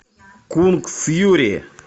кунг фьюри